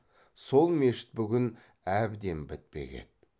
сол мешіт бүгін әбден бітпек еді